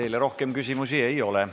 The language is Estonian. Teile rohkem küsimusi ei ole.